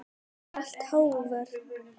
Og alltaf hógvær.